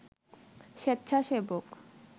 স্বেচ্ছাসেবক